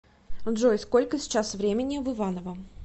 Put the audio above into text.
джой сколько сейчас времени в иваново